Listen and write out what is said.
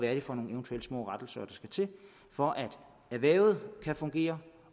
er for nogle små rettelser der skal til for at erhvervet kan fungere